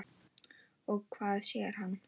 Og hvað sér hann?